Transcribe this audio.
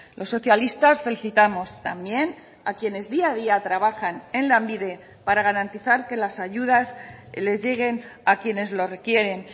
los socialistas felicitamos también a quienes día a día trabajan en lanbide para garantizar que las ayudas les lleguen a quienes lo requieren